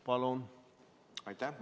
Palun!